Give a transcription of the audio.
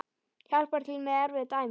Hjálpar til með erfið dæmi.